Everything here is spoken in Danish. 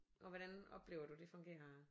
Og hvordan oplever du det fungerer